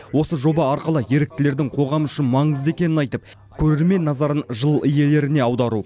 осы жоба арқылы еріктілердің қоғам үшін маңызды екенін айтып көрермен назарын жыл иелеріне аудару